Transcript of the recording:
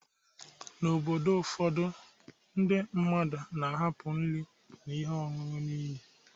N’obodo ụfọdụ, ndị mmadụ na-ahapụ nri na ihe ọṅụṅụ n’ili